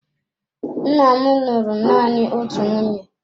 Nna m lụrụ nanị otu nwunye.